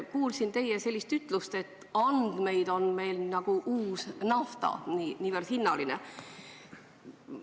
Kuulsin teie ütlust, et andmed on meil nagu uus nafta – niivõrd hinnaline vara.